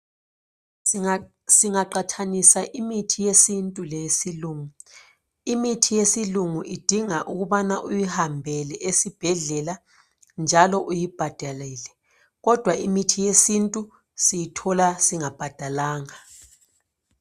Singaqathanisa imithi yesintu leyesilungu ,imithi yesilungu idinga ukubana uyihambele esibhedlela njalo uyibhadalele kodwa imithi yesintu siyithola singabhadalanga.